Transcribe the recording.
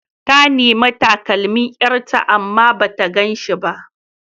Ta nemi takalmin ƴarta amma bata gan shi ba.